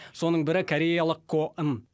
соның бірі кореялық ко ын